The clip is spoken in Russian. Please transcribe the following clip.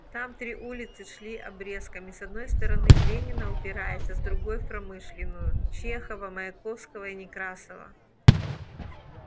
там три улицы шли обрезками с одной стороны в ленина упираясь а с другой в промышленную чехова маяковского и некрасова